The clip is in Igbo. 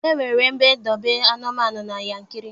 E nwere ebe ndobe anụmanụ na Yankiri.